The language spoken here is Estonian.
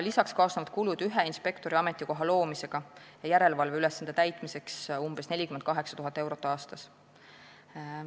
Lisaks kaasnevad ühe inspektori ametikoha loomise ja järelevalveülesande täitmise kulud umbes 48 000 eurot aastas.